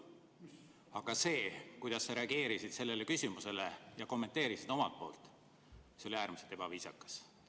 Aga viis, kuidas sa sellele küsimusele reageerisid ja seda kommenteerisid, oli äärmiselt ebaviisakas.